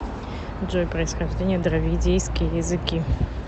джой происхождение дравидийские языки